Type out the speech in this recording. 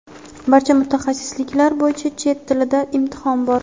barcha mutaxassisliklar bo‘yicha chet tilidan imtihon bor.